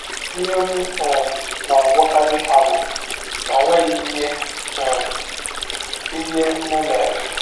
Ihe m um na - agwakarị ha bụ na ọ nweghị um ihe m mere.